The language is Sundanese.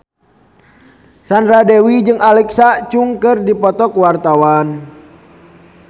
Sandra Dewi jeung Alexa Chung keur dipoto ku wartawan